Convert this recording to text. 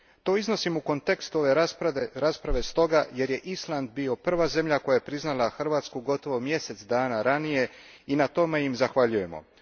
To iznosim u kontekstu ove rasprave stoga jer je Island bio prva zemlja koja je priznala Hrvatsku gotovo mjesec dana ranije i na tome im zahvaljujemo.